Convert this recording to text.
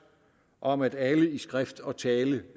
om at alle i skrift og tale